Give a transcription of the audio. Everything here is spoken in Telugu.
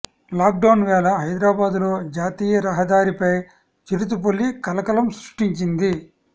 లాక్ డౌన్ వేళ హైదరాబాదులో జాతీయ రహదారిపై చిరుతపులి కలకలం సృష్టించింది